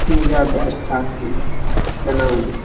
ये ज्यादा स्थान भी है बना हुआ।